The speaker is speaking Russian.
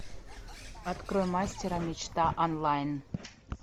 открой мастера мечта онлайн